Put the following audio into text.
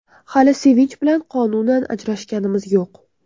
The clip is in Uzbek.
Hali Sevinch bilan qonunan ajrashganimiz yo‘q.